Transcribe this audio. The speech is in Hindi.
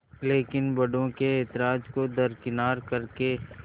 लेकिन बड़ों के ऐतराज़ को दरकिनार कर के